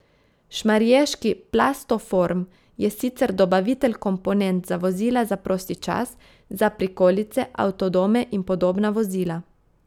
Šmarješki Plastoform je sicer dobavitelj komponent za vozila za prosti čas, za prikolice, avtodome in podobna vozila.